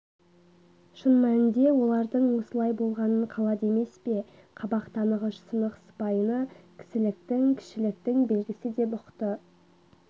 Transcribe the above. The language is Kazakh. шын мәнінде олардың осылай болғанын қалады емес пе қабақ танығыш сынық сыпайыны кісіліктің кішіліктің белгісі деп ұқты